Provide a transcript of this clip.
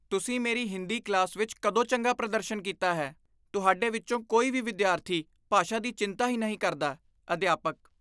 ਤੁਸੀਂ ਮੇਰੀ ਹਿੰਦੀ ਕਲਾਸ ਵਿੱਚ ਕਦੋਂ ਚੰਗਾ ਪ੍ਰਦਰਸ਼ਨ ਕੀਤਾ ਹੈ? ਤੁਹਾਡੇ ਵਿੱਚੋਂ ਕੋਈ ਵੀ ਵਿਦਿਆਰਥੀ ਭਾਸ਼ਾ ਦੀ ਚਿੰਤਾ ਹੀ ਨਹੀਂ ਕਰਦਾ ਅਧਿਆਪਕ